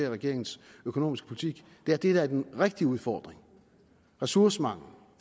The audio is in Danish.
i regeringens økonomiske politik det der er den rigtige udfordring ressourcemangelen